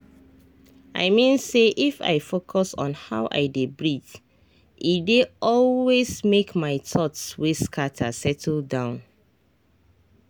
i mean say if i focus on how i dey breathee dey always make my thoughts wey scatter settle down.